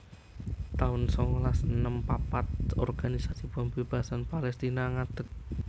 taun songolas enem papat Organisasi Pembebasan Palestina ngadeg